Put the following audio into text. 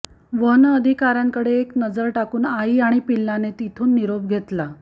one अधिकाऱ्यांकडे एक नजर टाकून आई आणि पिल्लाने तिथून निरोप घेतला